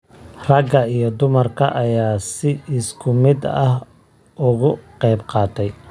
Ragga iyo dumarka ayaa si isku mid ah uga qayb qaatay.